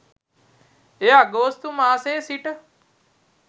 එය අගෝස්තු මාසයේ සිට